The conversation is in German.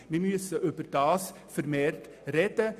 Darüber müssen wir vermehrt sprechen.